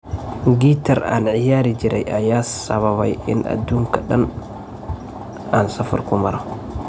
Gitar an ciyarijire ayaa sawabey ina adunka daan aan safar kumaro.